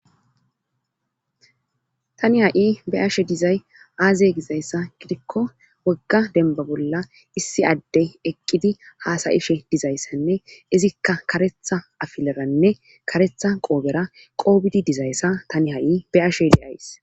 Tani ha'i be ashe dizay aazy gizayssa gidikko wogga demba bolla issi adde eqqidi haasayishe dizayssanne izikka karetha afileranne karetha qoobera qoobidi dizayssa tani ha'i be ashe le'ays.